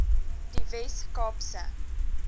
die wes kaapse